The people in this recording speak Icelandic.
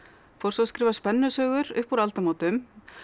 fór svo að skrifa spennusögur upp úr aldamótum